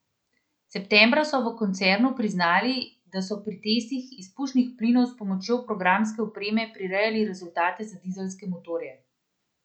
Septembra so v koncernu priznali, da so pri testih izpušnih plinov s pomočjo programske opreme prirejali rezultate za dizelske motorje.